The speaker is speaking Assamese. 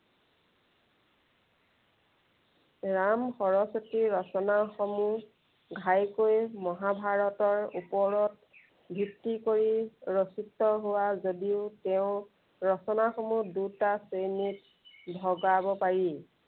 ৰাম সৰস্বতীৰ ৰচনাসমূহ, ঘাইকৈ মহাভাৰতৰ ওপৰত ভিত্তি কৰি ৰচিত হোৱা যদিও তেওঁৰ ৰচনাসমূহ দুটা শ্ৰেণীত ভগাব পাৰি।